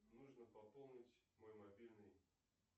нужно пополнить мой мобильный